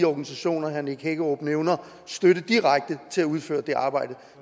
organisationer herre nick hækkerup nævner støtte direkte til at udføre det arbejde